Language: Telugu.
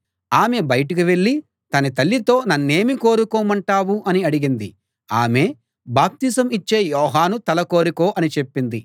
ఆమె బయటకి వెళ్ళి తన తల్లితో నన్నేమి కోరుకోమంటావు అని అడిగింది ఆమె బాప్తిసం ఇచ్చే యోహాను తల కోరుకో అని చెప్పింది